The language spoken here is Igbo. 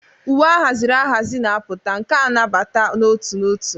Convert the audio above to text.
Uwe ahaziri ahazi na-apụta, nke a nabata n'otu n'otu.